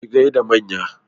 Ki gaida manya!